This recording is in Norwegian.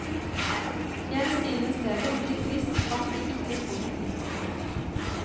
Jeg synes det er veldig trist at vi ikke får et nytt hus.